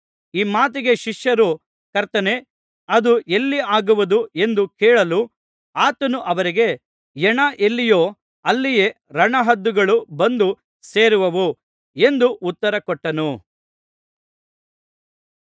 ಈ ಮಾತಿಗೆ ಶಿಷ್ಯರು ಕರ್ತನೇ ಅದು ಎಲ್ಲಿ ಆಗುವುದು ಎಂದು ಕೇಳಲು ಆತನು ಅವರಿಗೆ ಹೆಣ ಎಲ್ಲಿಯೋ ಅಲ್ಲಿಯೇ ರಣಹದ್ದುಗಳು ಬಂದು ಸೇರುವವು ಎಂದು ಉತ್ತರಕೊಟ್ಟನು